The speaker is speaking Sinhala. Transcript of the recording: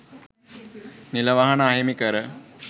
නිල වාහන අහිමි කර